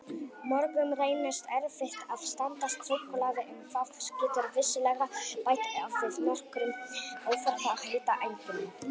Mörgum reynist erfitt að standast súkkulaði en það getur vissulega bætt við nokkrum óþarfa hitaeiningum.